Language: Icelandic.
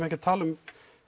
ekki að tala um